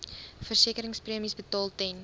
versekeringspremies betaal ten